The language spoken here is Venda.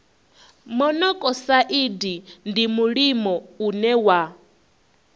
monokosaidi ndi mulimo une wa